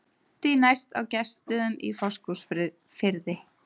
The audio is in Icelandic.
Því næst á Gestsstöðum í Fáskrúðsfirði.